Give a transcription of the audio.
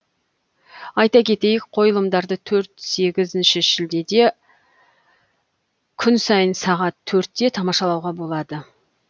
айта кетейік қойылымдарды төрт сегізінші шілдеде күн сайын сағат төртте тамашалауға болады